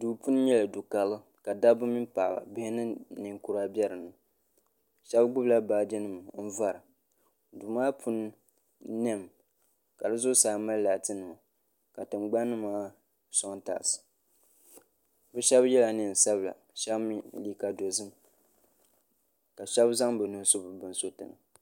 duu puuni n nyɛli du karili ka dabba mini paɣaba bihi ni ninkura bɛ dinni shab gbubila baaji nim n vora duu maa puuni niɛmi ka di zuɣusaa mali laati nima ka tingbani maa soŋ taals bi shab yɛla neen sabila shab mii liiga dozim ka shab zaŋ bi nuhi su bi bin suriti ni